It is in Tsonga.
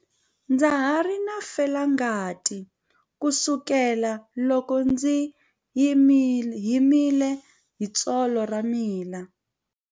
Ndza ha ri na felangati kusukela loko ndzi himile hi tsolo ra mina.